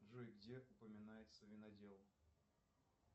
джой где упоминается винодел